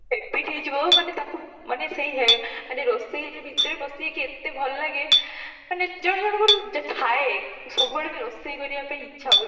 habit ହେଇଯିବା ମାନେ ତାକୁ ମାନେ ସେଇ ରୋଷେଇ ଭିତରେ ପସିକି କେତେ ଭଲ ଲାଗେ ମାନେ ଜଣ ଜଣଙ୍କୁ ଥାଏ ସବୁବେଳେ ରୋଷେଇ କରିବା ପାଇଁ ଇଚ୍ଛା ହୁଏ